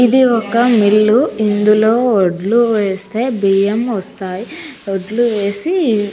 ఇది ఒక మిల్లు ఇందులో వొడ్లు వేస్తే బియ్యం వస్తాయి.